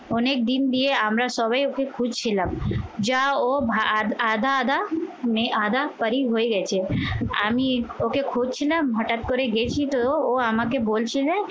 অনেকদিন দিয়ে আমরা সবাই ওকে খুঁজছিলাম যা ও আধা আধা আধা পরি হয়ে গেছে। আমি ওকে খুঁজছিলাম হঠাৎ করে দেখি তো ও আমাকে বলছে যে,